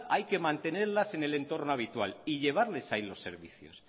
hay que mantenerlas en el entorno habitual y llevarles ahí los servicios